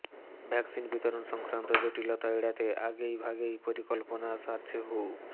vaccine বিতরণ সংক্রান্ত জটিলতা এড়াতে আগেই ভাগেই পরিকল্পনা সারছে হু